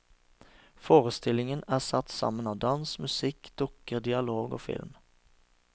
Forestillingen er satt sammen av dans, musikk, dukker, dialog og film.